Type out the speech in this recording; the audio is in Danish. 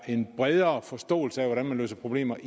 en bredere forståelse af hvordan man løser problemer